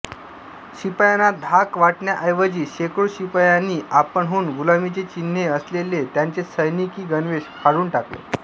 शिपायांना धाक वाटण्याऐवजी शेकडो शिपायांनी आपणहून गुलामीचे चिन्ह असलेले त्यांचे सैनिकी गणवेश फाडून टाकले